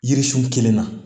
Yiririsun kelen na